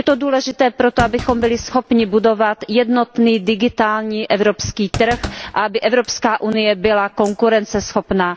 Je to důležité proto, abychom byli schopni budovat jednotný digitální evropský trh a aby Evropská unie byla konkurenceschopná.